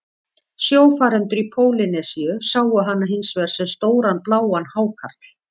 Sjófarendur í Pólýnesíu sáu hana hins vegar sem stóran bláan hákarl.